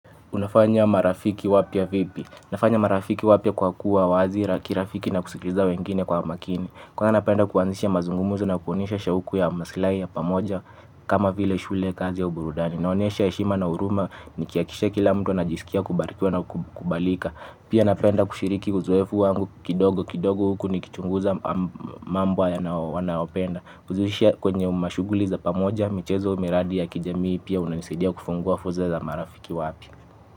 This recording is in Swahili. Unafanya marafiki wapya vipi? Nafanya marafiki wapya kwa kuwa wazi la kirafiki na kusikiliza wengine kwa makini. Kwa hayo napenda kuanzisha mazungumuzo na kuonyesha shauku ya masilai ya pamoja kama vile shule, kazi ya uburudani. Naonyesha heshima na huruma nikihakikisha kila mtu anajiskia kubarikiwa na kukubalika. Pia napenda kushiriki uzoefu wangu kidogo kidogo huku nikichunguza mambo wanayopenda. Kuzushia kwenye mashughuli za pamoja mchezo miradi ya kijamii pia unanisadia kufungua foza za marafiki wapi.